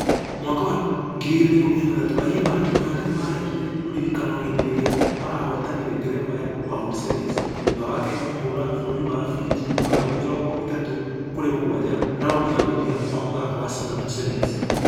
Mwaka wa 2016 ayimba na timũ yake nĩmaraigire ũririkano hĩndĩ ĩrĩa marahotanire ngerenwa ya world series. Thutha wa kenya kũhũra bũrũri wa fiji bao mĩrongo ĩtatũ kũrĩ mũgwaja raundi ya mũthia wa mũthako wa singapore sevens .